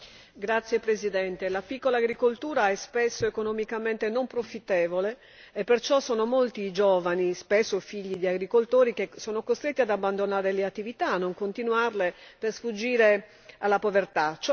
Signor Presidente, la piccola agricoltura è spesso economicamente non profittevole e perciò sono molti i giovani, spesso figli di agricoltori, che sono costretti ad abbandonare le attività, a non continuarle, per sfuggire alla povertà.